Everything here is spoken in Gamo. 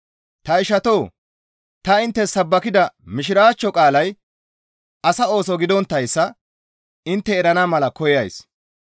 Ta ishatoo! Ta inttes sabbakida Mishiraachcho qaalay asa ooso gidonttayssa intte erana mala koyays.